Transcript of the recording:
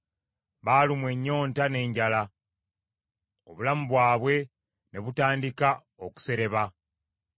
Baalumwa ennyonta n’enjala, obulamu bwabwe ne butandika okusereba.